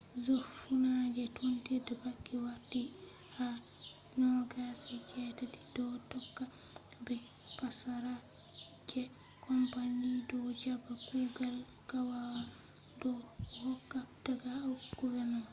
je funange tondire banki warti nationalized ha 2008 do tokka be passara je company do jaba kugal gaggawa do hokka daga uk government